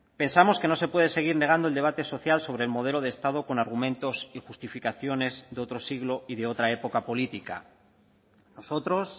pensamos que no se puede seguir negando el debate social sobre el modelo de estado con argumentos y justificaciones de otro siglo y de otra época política nosotros